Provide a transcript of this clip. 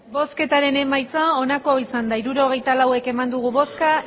hirurogeita lau eman dugu bozka